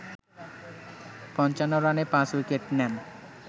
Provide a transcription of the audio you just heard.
৫৫ রানে ৫ উইকেট নেন